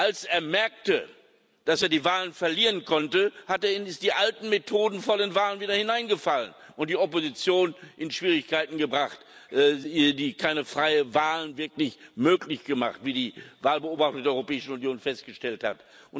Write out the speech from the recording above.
Als er merkte, dass er die Wahlen verlieren konnte, ist er wieder in die alten Methoden vor den Wahlen zurückgefallen und hat die Opposition in Schwierigkeiten gebracht, die keine freien Wahlen wirklich möglich gemacht hat, wie die Wahlbeobachter der Europäischen Union festgestellt haben.